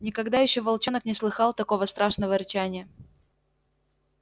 никогда ещё волчонок не слыхал такого страшного рычания